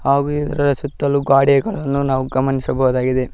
ಆ ವಿಗ್ರಹಗಳ ಸುತ್ತಲೂ ಗೋಡೆಗಳನ್ನು ನಾವು ಗಮನಿಸಬಹುದಾಗಿದೆ.